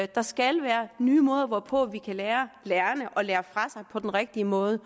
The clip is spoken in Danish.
der skal være nye måder hvorpå vi kan lære lærerne at lære fra sig på den rigtige måde